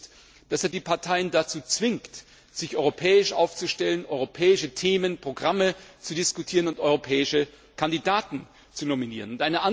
ist, dass er die Parteien dazu zwingt, sich europäisch aufzustellen, europäische Themen und Programme zu diskutieren und europäische Kandidaten zu nominieren.